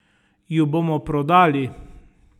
Ju bomo prodali?